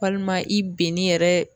Walima i bɛn'i yɛrɛ